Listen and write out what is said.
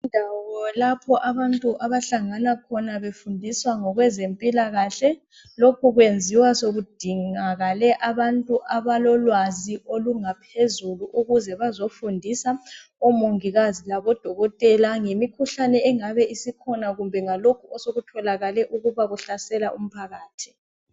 Indawo lapho abantu abahlangana khona befundiswa ngokwezempilakahle lokhu kwenziwa sekudingakale abantu abalolwazi olungaphezulu ukuze bazofundisa omongikazi labodokotela ngemikhuhlane engabe isikhona kumbe ngalokho osokutholakale ukuba kuhlasela umphakathi.